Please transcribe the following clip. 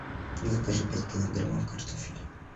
закажи пять килограммов картофеля